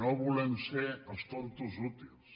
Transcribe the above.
no volem ser els tontos útils